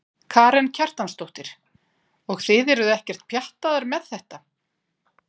Karen Kjartansdóttir: Og þið eruð ekkert pjattaðar með þetta?